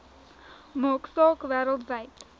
maak saak wêreldwyd